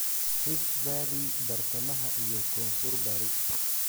"Rift Valley, Bartamaha iyo Koonfur-bari.